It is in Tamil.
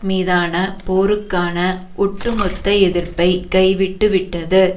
மீதான போருக்கான ஒட்டுமொத்த எதிர்ப்பை கைவிட்டுவிட்டது